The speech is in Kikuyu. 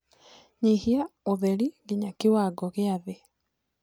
nyĩhĩaũtherĩ ginyagia kĩwango gia thii